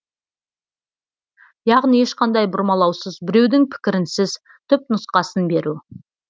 яғни ешқандай бұрмалаусыз біреудің пікірінсіз түпнұсқасын беру